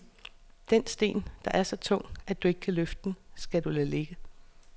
Den sten, der er så tung, at du ikke kan løfte den, skal du lade ligge.